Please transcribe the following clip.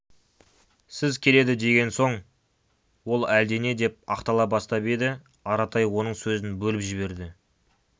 сіз келеді деген соң ол әлдене деп ақтала бастап еді аратай оның сөзін бөліп жіберді